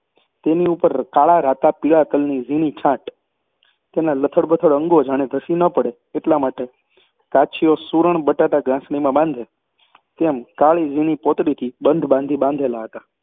અને તેની ઉપર કાળા, રાતા, પીળા તલની ઝીણી છાંટ તેનાં લથડબથડ અંગો જાણે ધસી ન પડે એટલા માટે કાછિયો સૂરણ-બટાટાં ગાંસડીમાં બાંધે તેમ, કાળી ઝીણી પોતડીથી બંધ બાંધી બાંધેલાં હતાં